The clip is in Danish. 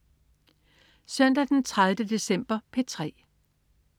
Søndag den 30. december - P3: